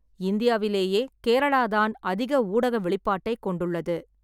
இந்தியாவிலேயே கேரளாதான் அதிக ஊடக வெளிப்பாட்டைக் கொண்டுள்ளது.